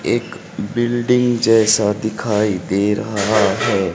एक बिल्डिंग जैसा दिखाई दे रहा है।